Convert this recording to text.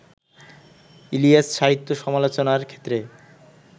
ইলিয়াস-সাহিত্য সমালোচনার ক্ষেত্রে